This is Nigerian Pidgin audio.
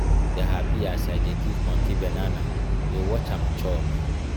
i just dey hapi as i dey give monkey banana dey watch am chop.